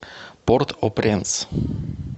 порт о пренс